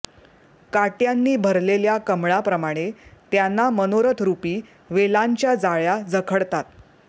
काट्यांनी भरलेल्या कमळाप्रमाणे त्यांना मनोरथरुपी वेलांच्या जाळ्या जखडतात